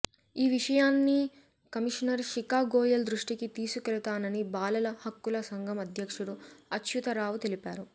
ఈ విషయాన్ని కమిషనర్ శిఖా గోయల్ దృష్టికి తీసుకెళుతానని బాలల హక్కుల సంఘం అధ్యక్షుడు అచ్యుతరావు తెలిపారు